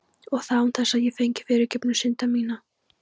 Og það án þess ég fengi fyrirgefningu synda minna.